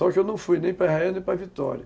Só que eu não fui nem para Israel nem para Vitória.